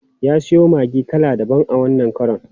Ya siyo maggi kala daban wannan karon.